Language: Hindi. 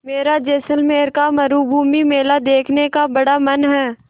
मेरा जैसलमेर का मरूभूमि मेला देखने का बड़ा मन है